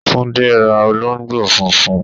Túndé ra olóńgbò funfun